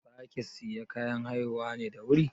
Za ki sayi kayan haihuwa da wuri ne?